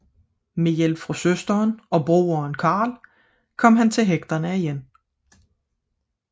Med hjælp fra søsteren og broderen Carl kom han til hægterne igen